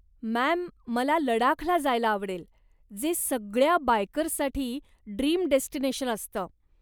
Ma'am, मला लडाखला जायला आवडेल, जे सगळ्या बायकर्ससाठी ड्रीम डेस्टिनेशन असतं.